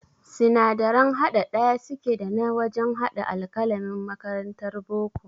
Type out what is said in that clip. Sinadaran haɗa ɗaya suke da na wajan haɗa alƙalamin makarantar boko